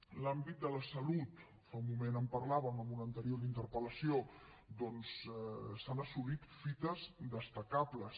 en l’àmbit de la salut fa un moment en parlàvem en una anterior interpel·lació doncs s’han assolit fites destacables